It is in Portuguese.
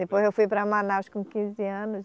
Depois eu fui para Manaus com quinze anos